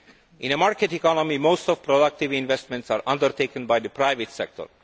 In a market economy, most productive investments are undertaken by the private sector.